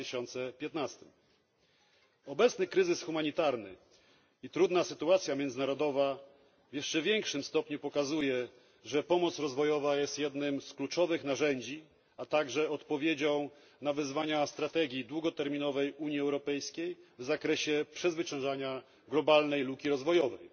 2015. Obecny kryzys humanitarny i trudna sytuacja międzynarodowa w jeszcze większym stopniu pokazują, że pomoc rozwojowa jest jednym z kluczowych narzędzi, a także odpowiedzią na wyzwania strategii długoterminowej Unii Europejskiej w zakresie przezwyciężania globalnej luki rozwojowej.